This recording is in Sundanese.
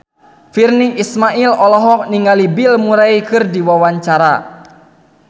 Virnie Ismail olohok ningali Bill Murray keur diwawancara